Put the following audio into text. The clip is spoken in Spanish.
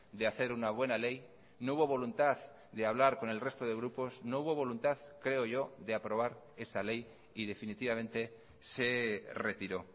de hacer una buena ley no hubo voluntad de hablar con el resto de grupos no hubo voluntad creo yo de aprobar esa ley y definitivamente se retiró